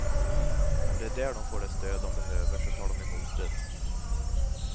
Om det är där de får det stöd de behöver, så tar de emot det.